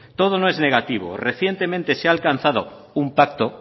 todo no es negativo recientemente se ha alcanzado un pacto